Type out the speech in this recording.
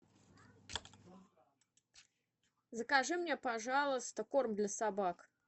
закажи мне пожалуйста корм для собак